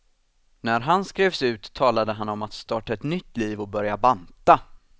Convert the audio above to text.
När han skrevs ut talade han om att starta ett nytt liv och börja banta.